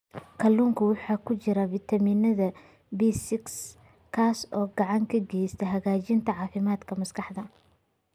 Kalluunka waxaa ku jira fitamiin B6 kaas oo gacan ka geysta hagaajinta caafimaadka maskaxda.